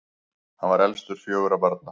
hann var elstur fjögurra barna